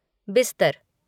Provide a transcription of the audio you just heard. बिस्तर